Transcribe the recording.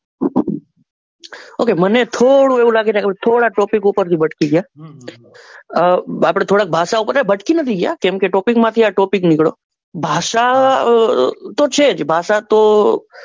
okay મને થોડું એવું લાગી રહ્યું કે થોડા આપડે topic ભટકી ગયા આહ આપડે થોડાક ભાષા ઉપર થી આપડે ભટકી નથી ગયા કેમ કે topic માંથી આ topic નીકળ્યો ભાષા તો છે જ ભાષા તો,